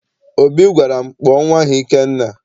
Obi gwara m, kpọọ nnwa ahụ Ikenna!